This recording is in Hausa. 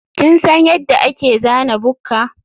kin san yadda ake zana bukka?